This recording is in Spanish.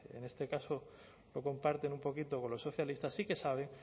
en este caso lo comparten un poquito con los socialistas sí que sabe